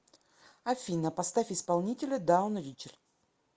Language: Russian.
афина поставь исполнителя даун ричард